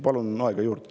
Palun aega juurde.